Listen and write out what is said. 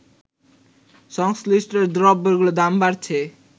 সংশ্লিষ্ট দ্রব্যগুলোর দাম বাড়ছে